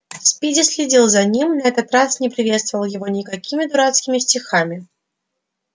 спиди следил за ним на этот раз не приветствовал его никакими дурацкими стихами